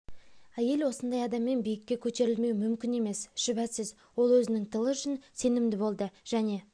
әйел осындай адаммен биікке көтерілмеу мүмкін емес шүбәсіз ол өзінің тылы үшін сенімді болды және